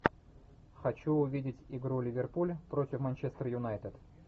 хочу увидеть игру ливерпуль против манчестер юнайтед